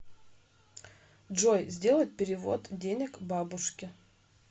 джой сделать перевод денег бабушке